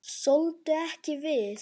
Þoldu ekki við.